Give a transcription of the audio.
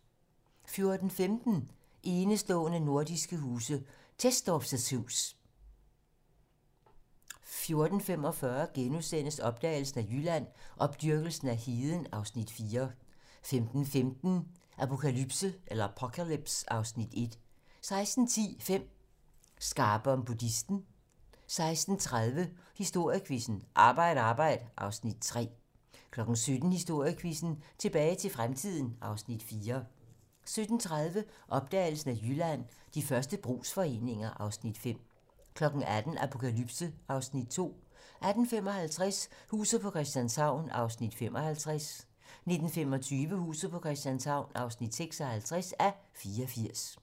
14:15: Enestående nordiske huse - Tesdorpf's hus 14:45: Opdagelsen af Jylland: Opdyrkelsen af heden (Afs. 4)* 15:15: Apocalypse (Afs. 1)* 16:10: 5 Skarpe om buddhisme 16:30: Historiequizzen: Arbejd arbejd (Afs. 3) 17:00: Historiequizzen: Tilbage til fremtiden (Afs. 4) 17:30: Opdagelsen af Jylland: De første brugsforeninger (Afs. 5) 18:00: Apokalypse (Afs. 2) 18:55: Huset på Christianshavn (55:84) 19:25: Huset på Christianshavn (56:84)